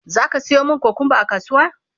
zaka Sayo mani kukumba a kasuwa?